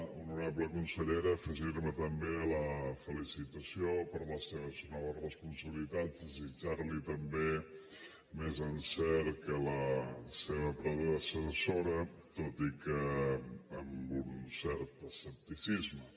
honorable consellera afegirme també a la felicitació per les seves noves responsabilitats desitjarli també més encert que la seva predecessora tot i que amb un cert escepticisme